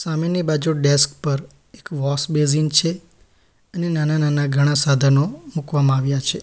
હામેની બાજુ ડેસ્ક પર એક વૉશ બેસિન છે અને નાના-નાના ઘણા સાધનો મૂકવામાં આવ્યા છે.